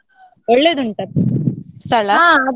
ಒಳ್ಳೆದುಂಟಾ ಸ್ಥಳ?